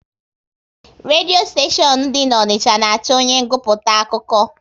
Redio steshion dị n'Onicha na achọ onye nguputa akụkọ